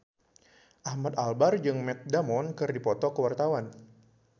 Ahmad Albar jeung Matt Damon keur dipoto ku wartawan